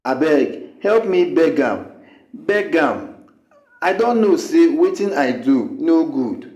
abeg help me beg am beg am i don know say wetin i do no good.